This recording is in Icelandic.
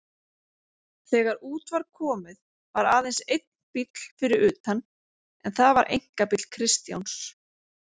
Þegar út var komið var aðeins einn bíll fyrir utan en það var einkabíll Kristjáns.